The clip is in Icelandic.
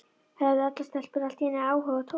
Höfðu allar stelpur allt í einu áhuga á Tóta?